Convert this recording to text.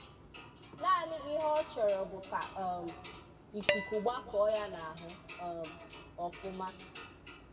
Naanị ihe ọ chọrọ bụ ka um ịkụkụ gbákọọ ya n'ahu um ọfụmá